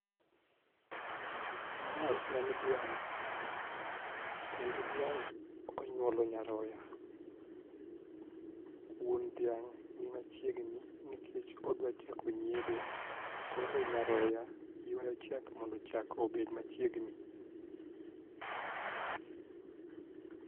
Mae en dhiang' kendo dhiang' onyuolo nyaroya. Wuon dhiang' ni ma chiegni nikech odwa chako yiedho koro nyaroya yuayo chak mondo chak obed machiegni